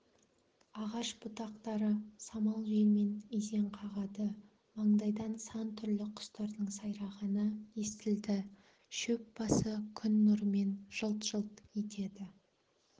ағаш бұтақтары самал желмен изең қағады маңайдан сан түрлі құстардың сайрағаны естілді шөп басы күн нұрымен жылт-жылт етеді